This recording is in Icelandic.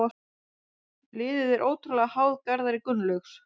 Liðið er ótrúlega háð Garðari Gunnlaugs.